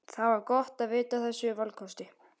Það var gott að vita af þessum valkosti.